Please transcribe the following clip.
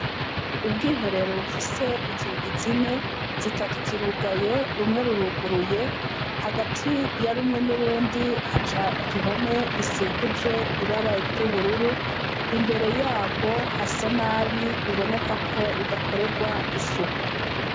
Ubwiherero bufise inzugi zine. Zitatu zirugaye, rumwe ruruguruye. Hagati ya rumwe n'urundi ,haca igihome gisikujwe ibara ry'ubururu . Imbere yarwo hasa nabi , biboneka ko rudakorerwa isuku.